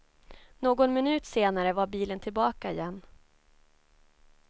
Någon minut senare var bilen tillbaka igen.